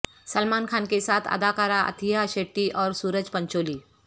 سلمان خان کے ساتھ اداکارہ اتھیا شیٹی اور سورج پنچولی